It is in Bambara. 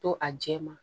To a jɛ ma